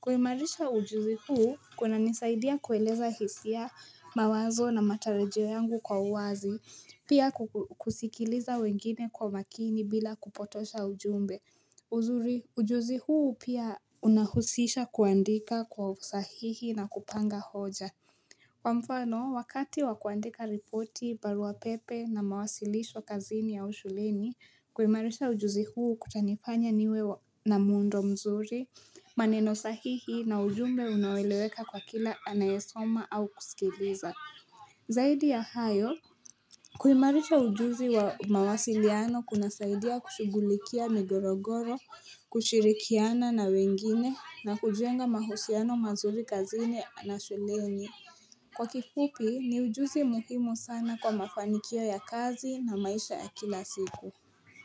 Kuimarisha ujuzi huu kunanisaidia kueleza hisia mawazo na matarajio yangu kwa uwazi. Pia kusikiliza wengine kwa makini bila kupotosha ujumbe Ujuzi huu pia unahusisha kuandika kwa usahihi na kupanga hoja. Kwa mfano, wakati wakuandika ripoti, barua pepe na mawasilisho kazini au shuleni, kuimarisha ujuzi huu kutanifanya niwe na muundo mzuri maneno sahihi na ujumbe unaoeleweka kwa kila anayesoma au kusikiliza Zaidi ya hayo kuimarisha ujuzi wa mawasiliano kunasaidia kushugulikia migogoro, kushirikiana na wengine na kujenga mahusiano mazuri kazini na shuleni. Kwa kifupi ni ujuzi muhimu sana kwa mafanikio ya kazi na maisha ya kila siku.